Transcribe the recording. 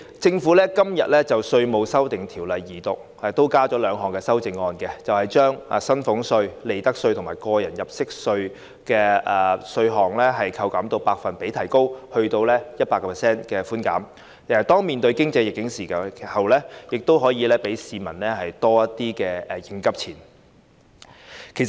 主席，今天就《條例草案》進行二讀，政府亦提出兩項修正案，從而將寬免薪俸稅、利得稅及個人入息課稅的百分比提高至 100%， 讓市民在面對當前的經濟逆境時，亦可保留多點應急錢。